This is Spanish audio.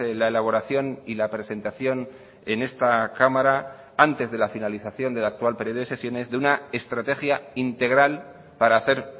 la elaboración y la presentación en esta cámara antes de la finalización del actual periodo de sesiones de una estrategia integral para hacer